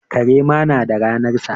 Kare ma na da ranarsa.